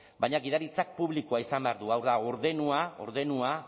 baina gidaritza publikoa izan behar du hau da ordenua ordenua